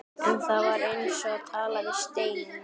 En það var eins og að tala við steininn.